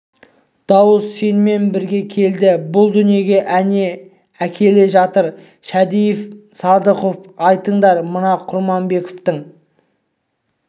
дауыс сенімен бірге келді бұл дүниеге әне әкеле жатыр ал шәдиев пен садыханов айтыңдар мына құрманбековтың